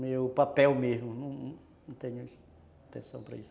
Meu papel mesmo, não tenho intenção para isso.